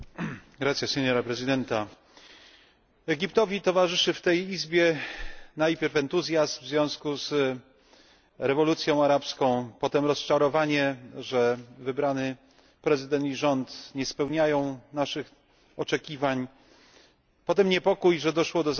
Pani Przewodnicząca! Egiptowi towarzyszył w tej izbie najpierw entuzjazm w związku z rewolucją arabską, potem rozczarowanie, że wybrany prezydent i rząd nie spełniają naszych oczekiwań, potem niepokój, że doszło do zamachu,